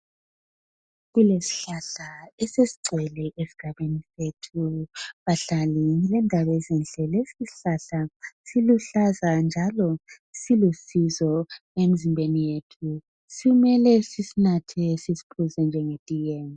Kulesihlahla esesigcwele esigabeni sethu. Bahlali ngilendaba ezinhle lesi isihlahla siluhlaza njalo silusizo emzimbeni yethu. Simele sisinathe sisiphuze njengetiye.